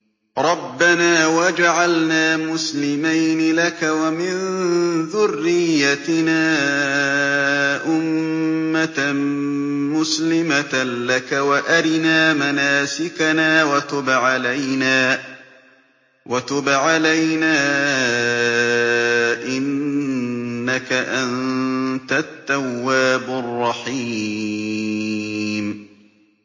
رَبَّنَا وَاجْعَلْنَا مُسْلِمَيْنِ لَكَ وَمِن ذُرِّيَّتِنَا أُمَّةً مُّسْلِمَةً لَّكَ وَأَرِنَا مَنَاسِكَنَا وَتُبْ عَلَيْنَا ۖ إِنَّكَ أَنتَ التَّوَّابُ الرَّحِيمُ